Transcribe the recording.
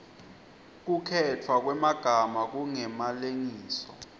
kukhetfwa kwemagama kungemalengiso